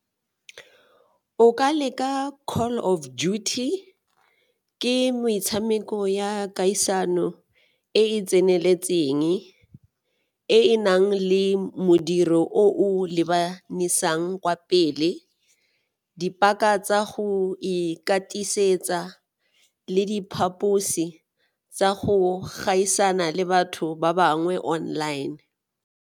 O ka leka Call of Duty, ke metshameko ya kgaisano e e tseneletseng, e e nang le modiro o lebanisang kwa pele, dipaka tsa go ikatiisetsa le diphaposi tsa go gaisana le batho ba bangwe online.